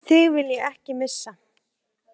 Þig vil ég ekki missa.